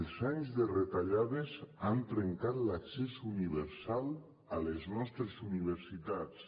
els anys de retallades han trencat l’accés universal a les nostres universitats